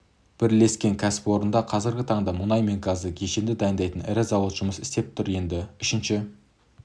бірлескен кәсіпорында қазіргі таңда мұнай мен газды кешенді дайындайтын ірі зауыт жұмыс істеп тұр енді үшініші